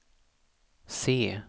se